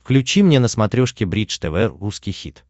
включи мне на смотрешке бридж тв русский хит